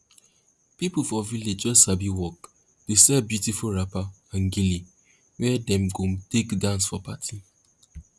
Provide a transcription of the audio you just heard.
pipo for village wey sabi work dey sell beautiful wrapper and gele wey dem go take dance for party